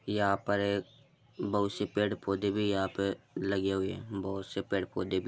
यहाँ पर एक बहोत से पेड़-पौधे भी यहाँ पे लगे हुए हैं बहोत से पेड़-पौधे भी --